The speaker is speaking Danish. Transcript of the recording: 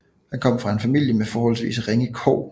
Han kom fra en familie med forholdsvis ringe kår